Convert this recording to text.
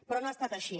però no ha estat així